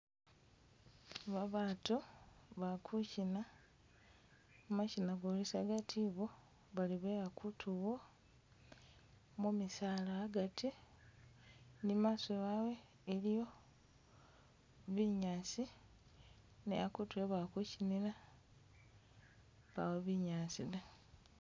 Babatu bali kuchina mashina golisagati ibo bali be akutu'wo mu misaala agati ni mumaaso wawe iliyo binyaasi ne akutu e'bali kuchinila pawo binyaasi da.